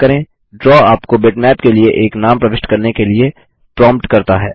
draw आपको bitmap के लिए एक नाम प्रविष्ट करने के लिए प्रांप्ट करता है